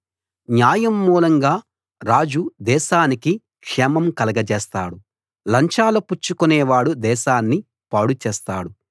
న్యాయం మూలంగా రాజు దేశానికి క్షేమం కలగజేస్తాడు లంచాలు పుచ్చుకొనేవాడు దేశాన్ని పాడుచేస్తాడు